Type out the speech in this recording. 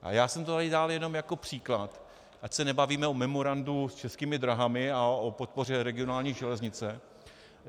A já jsem to tady dal jenom jako příklad, ať se nebavíme o memorandu s Českými dráhami a o podpoře regionální železnice.